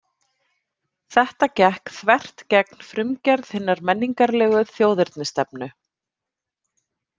Þetta gekk þvert gegn frumgerð hinnar menningarlegu þjóðernisstefnu.